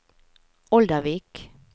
Oldervik